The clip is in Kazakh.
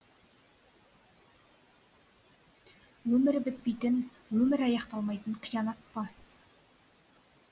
өмірі бітпейтін өмірі аяқталмайтын қиянат па